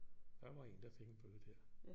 Der var en der fik en bøde lige der